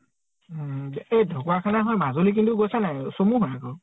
উম । এই ঢকোৱাখানা হৈ মাজুলী কিন্তু গৈছা নে নাই ? চমু হয় আকৌ